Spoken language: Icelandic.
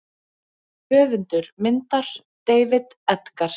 Höfundur myndar: David Edgar.